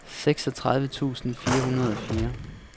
seksogtredive tusind fire hundrede og fire